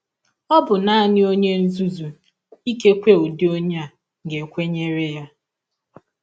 Ọ bụ nanị ọnye nzuzu — ikekwe ụdị ọnye a — ga - ekwenyere ya. ”